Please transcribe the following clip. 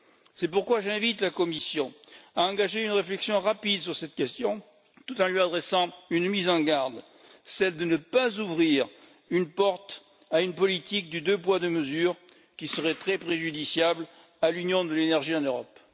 C'est pourquoi j'invite la Commission à engager une réflexion rapide sur cette question, tout en lui adressant une mise en garde celle de ne pas ouvrir la porte à une politique du deux poids, deux mesures, qui serait très préjudiciable à l'Union de l'énergie en Europe.